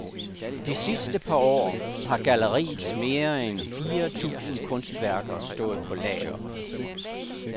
De sidste par år har galleriets mere end fire tusind kunstværker stået på lager.